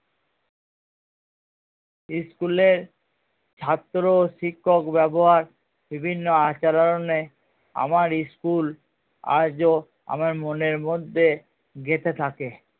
school এ ছাত্র শিক্ষক ব্যাবহার বিভিন্ন আচারণে আমার school আজও আমার মনের মধ্যে গেঁথে থাকে